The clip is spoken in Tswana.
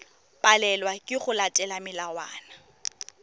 palelwa ke go latela melawana